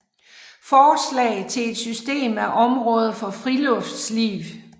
Forslag til et System af Omraader for Friluftsliv